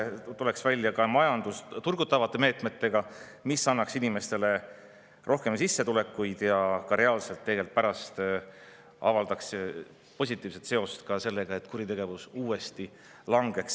tulema välja majandust turgutavate meetmetega, mis annaks inimestele rohkem sissetulekuid ja avaldaks reaalselt pärast positiivset sellele, et kuritegevus uuesti langeks.